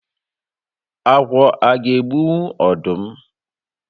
Agwọ aga egbunwu ọdụm?